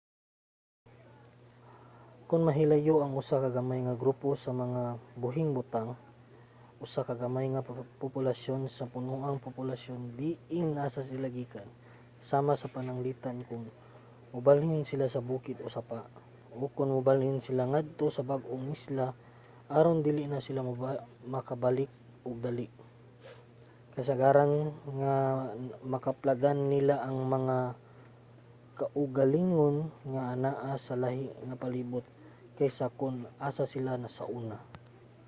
kon mahilayo ang usa ka gamay nga grupo sa mga buhing butang usa ka gamay nga populasyon sa punoang populasyon diin asa sila gikan sama pananglitan kon mobalhin sila sa bukid-bukid o sapa o kon mobalhin sila ngadto sa bag-ong isla aron dili na sila makabalik og dali kasagaran nga makaplagan nila ang ilang mga kaugalingon nga anaa sa lahi nga palibot kaysa sa kon asa sila sauna